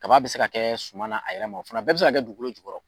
Kaba bi se ka kɛ suman a yɛrɛ ma, o fana bɛɛ bi se ka kɛ dugukolo jukɔrɔ